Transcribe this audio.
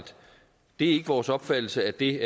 det ikke er vores opfattelse at det